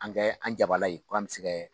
An kɛ an jabala ye ko an bɛ se kɛ